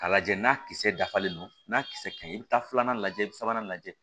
K'a lajɛ n'a kisɛ dafalen don n'a kisɛ ka ɲi i bɛ taa filanan lajɛ i bɛ sabanan lajɛ